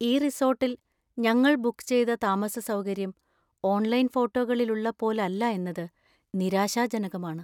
ഈ റിസോർട്ടിൽ ഞങ്ങൾ ബുക്ക് ചെയ്ത താമസസൗകര്യം ഓൺലൈൻ ഫോട്ടോകളില്‍ ഉള്ള പോലല്ല എന്നത് നിരാശാജനകമാണ്.